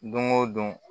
Don o don